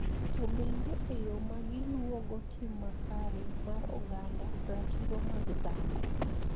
To bende e yo ma giluwogo tim makare mar oganda, ratiro mag dhano,